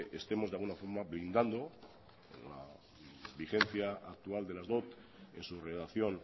estemos de alguna forma blindando la vigencia actual de las dot en su redacción